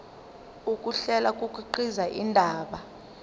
ukuhlela kukhiqiza indaba